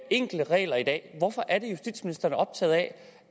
enkle regler i dag hvorfor er det justitsministeren er optaget af